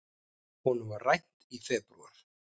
Honum var rænt í febrúar.